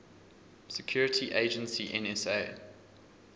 security agency nsa